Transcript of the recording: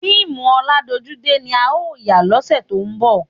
Fíìmù ọládojúdé ni a ó yà lọ́sẹ̀ tó ń bọ̀